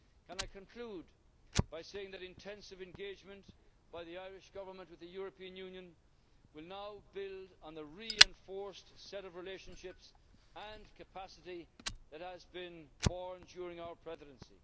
Can I conclude by saying that intensive engagement by the Irish Government with the European Union will now build on the reinforced set of relationships and capacity that has been born during our Presidency.